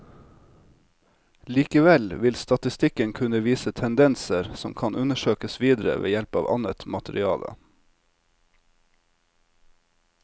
Likevel vil statistikken kunne vise tendenser som kan undersøkes videre ved hjelp av annet materiale.